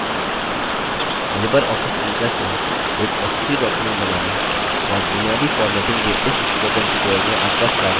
Libre office impress में एक प्रस्तुति document बनाना और बुनियादी formatting के इस spoken tutorial में आपका स्वागत है